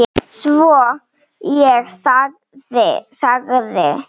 Svo ég þagði.